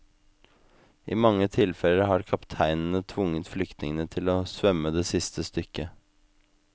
I mange tilfeller har kapteinene tvunget flyktningene til å svømme det siste stykket.